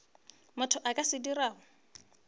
motho a ka se dirago